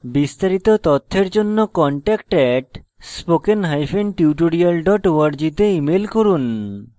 বিস্তারিত তথ্যের জন্য contact @spokentutorial org তে ইমেল করুন